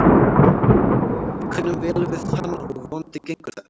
Við kunnum vel við hann og vonandi gengur þetta.